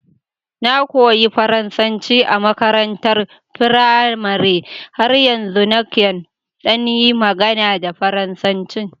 Na koyi Faransanci a makarantar firamare, har yanzu nakan ɗan yi magana da Faransanci